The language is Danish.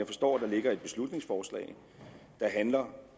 forstår at der ligger et beslutningsforslag der handler